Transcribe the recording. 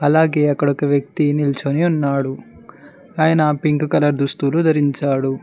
అలాగే అక్కడ ఒక వ్యక్తి నిల్చొని ఉన్నాడు ఆయన పింక్ కలర్ దుస్తులు ధరించాడు.